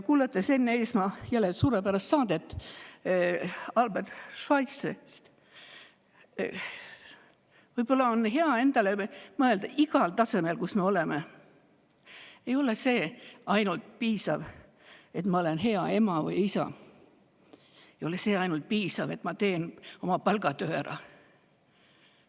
Kuulasin Enn Eesmaa suurepärast saadet Albert Schweitzerist ja mõtlesin, et võib-olla on hea endale öelda, igal tasemel, kus me oleme: ainult sellest ei piisa, et ma olen hea ema või isa, ka sellest ei piisa, et ma teen oma palgatöö ära.